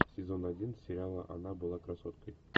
сезон один сериала она была красоткой